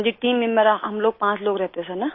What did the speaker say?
हाँजी team member हम पाँच लोग रहते सिर न